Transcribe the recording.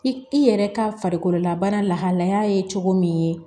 I yɛrɛ ka farikolola bana lahalaya ye cogo min